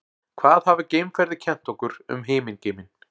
hvað hafa geimferðir kennt okkur um himingeiminn